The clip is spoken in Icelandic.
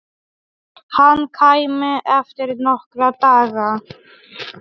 Hann kæmi eftir nokkra daga.